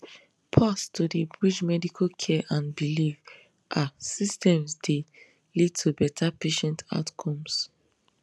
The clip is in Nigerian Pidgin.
pause to dey bridge medical care and belief ah systems dey lead to better patient outcomes